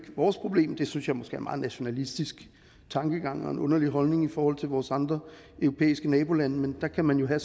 vores problem det synes jeg måske meget nationalistisk tankegang og en underlig holdning i forhold til vores andre europæiske nabolande men der kan man jo